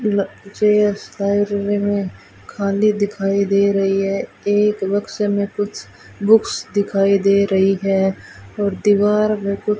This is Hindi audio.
जे_एस फाइव रूम में खाली दिखाई दे रही है एक बक्से में कुछ बुक्स दिखाई दे रही है और दीवार में कुछ--